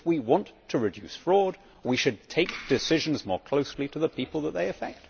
If we want to reduce fraud we should take decisions more closely to the people that they affect.